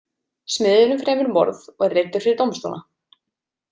Smiðurinn fremur morð og er leiddur fyrir dómstóla.